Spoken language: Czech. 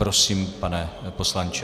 Prosím, pane poslanče.